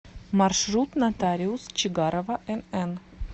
маршрут нотариус чигарова нн